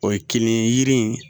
O ye kinni ye yiri in